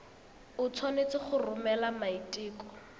o tshwanetse go romela maiteko